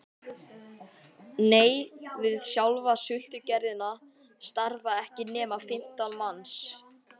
Nei, við sjálfa sultugerðina starfa ekki nema fimmtán manns